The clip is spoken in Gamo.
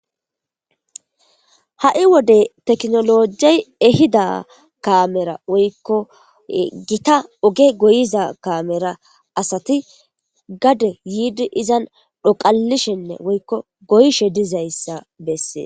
Ha7i wode teknolojey ehida kamera woykko gita oge goyiza kamera asati gade yiidi izan dhoqalishenne woykko goyshe dizayssa bessee.